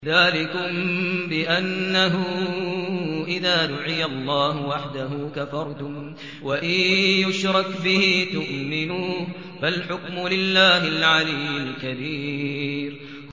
ذَٰلِكُم بِأَنَّهُ إِذَا دُعِيَ اللَّهُ وَحْدَهُ كَفَرْتُمْ ۖ وَإِن يُشْرَكْ بِهِ تُؤْمِنُوا ۚ فَالْحُكْمُ لِلَّهِ الْعَلِيِّ الْكَبِيرِ